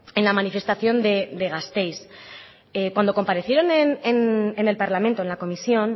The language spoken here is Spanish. en la manifestación de gasteiz cuando comparecieron en el parlamento en la comisión